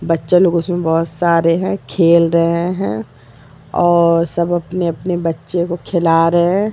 बच्चा लोग उसमें बहुत सारे हैं खेल रहे हैं और सब अपने-अपने बच्चे को खिला रहे हैं ।